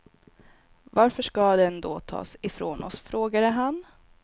Varför ska den då tas ifrån oss, frågade han.